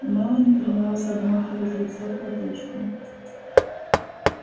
мелани принялась обмахивать лицо платочком